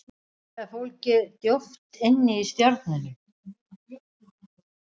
Svarið er fólgið djúpt inni í stjörnunum.